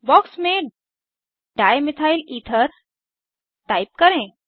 box में dimethyl ether type करें